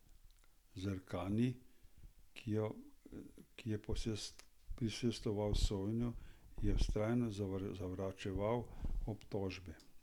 Zerkani, ki je prisostvoval sojenju, je vztrajno zavračal obtožbe.